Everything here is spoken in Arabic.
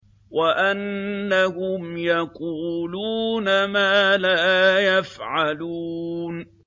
وَأَنَّهُمْ يَقُولُونَ مَا لَا يَفْعَلُونَ